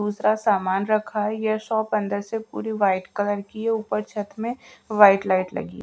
दूसरा सामान रखा है ये शॉप अंदर से पूरी व्हाइट कलर की है ऊपर छत में व्हाइट लाइट लगी--